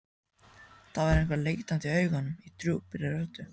Það var eitthvað leitandi í augunum, í djúpri röddinni.